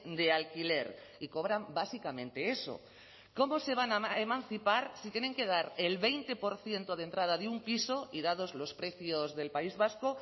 de alquiler y cobran básicamente eso cómo se van a emancipar si tienen que dar el veinte por ciento de entrada de un piso y dados los precios del país vasco